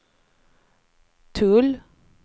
tull